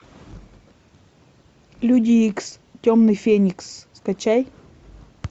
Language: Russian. люди икс темный феникс скачай